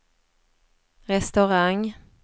restaurang